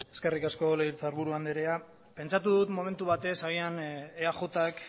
eskerrik asko legebiltzar buru andrea pentsatu dut momentu batez agian eajk